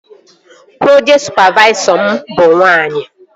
Projekti sụpavaisọ m bụ nwaanyị